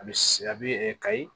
A bɛ se a bɛ kayi